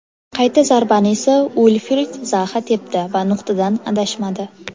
Qayta zarbani esa Uilfrid Zaha tepdi va nuqtadan adashmadi.